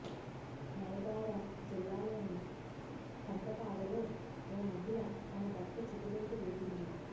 నయగారా జిల్లాలోని ఖందపాడలో ఓ మహిళ తన భర్త చితిలోకి దూకింది